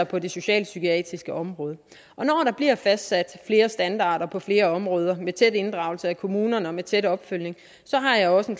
på det socialpsykiatriske område og når der bliver fastsat flere standarder på flere områder med tæt inddragelse af kommunerne og med tæt opfølgning har jeg også en